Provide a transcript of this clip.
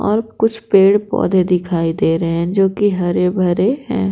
और कुछ पेड़ पौधे दिखाई दे रहे हैं जो कि हरे भरे हैं।